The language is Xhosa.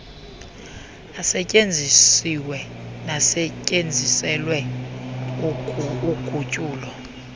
asetyenzisiweyo nasetyenziselwe ugutyulo